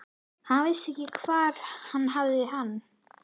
Hann vissi ekki hvar hann hafði hann.